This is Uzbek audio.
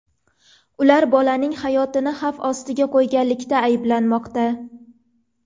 Ular bolaning hayotini xavf ostiga qo‘yganlikda ayblanmoqda.